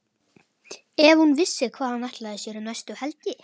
Ef hún vissi hvað hann ætlaði sér um næstu helgi!